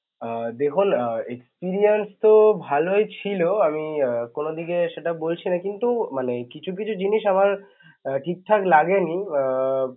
আহ দেখুন আহ experience তো ভালই ছিল আমি আহ কোন দিকে সেটা বলছি না কিন্তু মানে কিছু কিছু জিনিস আমার ঠিকঠাক লাগেনি আহ